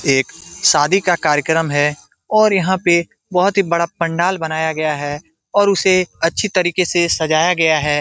एक शादी का कार्यकर्म है और यहां पे बहोत ही बड़ा पंडाल बनाया गया है और उसे अच्छी तरीके से सजाया गया है।